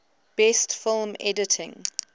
best film editing